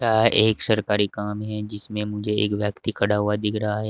यह एक सरकारी काम है जिसमें मुझे एक व्यक्ति खड़ा हुआ दिख रहा है।